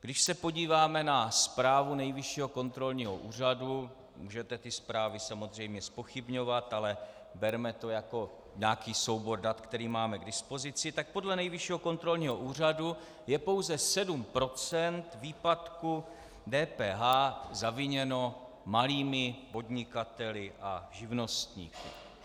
Když se podíváme na zprávu Nejvyššího kontrolního úřadu, můžete ty zprávy samozřejmě zpochybňovat, ale berme to jako nějaký soubor dat, který máme k dispozici, tak podle Nejvyššího kontrolního úřadu je pouze 7 % výpadku DPH zaviněno malými podnikateli a živnostníky.